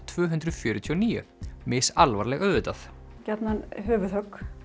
tvö hundruð fjörutíu og níu misalvarleg auðvitað gjarnan höfuðhögg